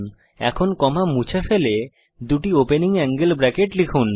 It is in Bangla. এখন কমা মুছে ফেলুন এবং দুটি ওপেনিং অ্যাঙ্গেল ব্রেকেট লিখুন